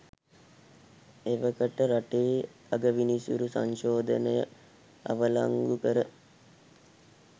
එවකට රටේ අගවිනිසුරු සංශෝධනය අවලංගු කර